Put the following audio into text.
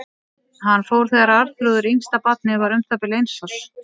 Hann fór þegar Arnþrúður, yngsta barnið, var um það bil eins árs.